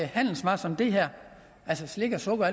handelsvarer som de her altså slik sukker